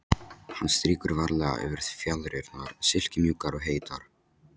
Hann strýkur varlega yfir fjaðrirnar, silkimjúkar og heitar.